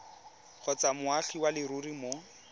kgotsa moagi wa leruri mo